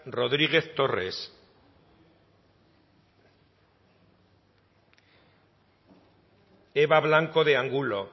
rodriguez torres eba blanco de angulo